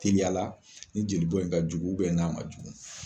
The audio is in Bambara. Teliyala ni jeli bɔ in kajugu ubɛ n'a man jugu